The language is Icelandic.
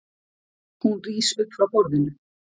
Hún rís upp frá borðinu.